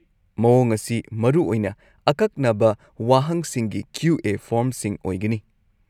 - ꯃꯑꯣꯡ ꯑꯁꯤ ꯃꯔꯨꯑꯣꯏꯅ ꯑꯀꯛꯅꯕ ꯋꯥꯍꯪꯁꯤꯡꯒꯤ ꯀ꯭ꯌꯨ.ꯑꯦ. ꯐꯣꯔꯝꯁꯤꯡ ꯑꯣꯏꯒꯅꯤ ꯫